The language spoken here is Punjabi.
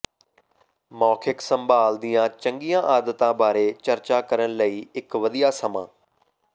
ਮੌਖਿਕ ਸੰਭਾਲ ਦੀਆਂ ਚੰਗੀਆਂ ਆਦਤਾਂ ਬਾਰੇ ਚਰਚਾ ਕਰਨ ਲਈ ਇੱਕ ਵਧੀਆ ਸਮਾਂ